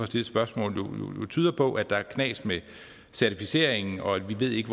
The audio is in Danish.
stille spørgsmål tyder på at der er knas med certificeringen og at vi ikke